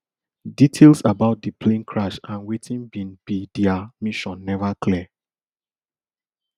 details about di plane crash and wetin bin be dia mission never clear